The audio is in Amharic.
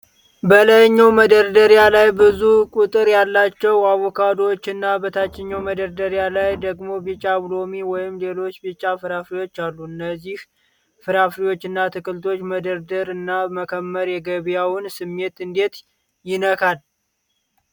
በላይኛው መደርደሪያ ላይ ብዙ ቁጥር ያላቸው አቮካዶዎች እና በታችኛው መደርደሪያ ላይ ደግሞ ቢጫ ሎሚ ወይም ሌሎች ቢጫ ፍራፍሬዎች አሉ። እነዚህ ፍራፍሬዎችና አትክልቶች መደርደር እና መከመር የገበያውን ስሜት እንዴት ይነካል?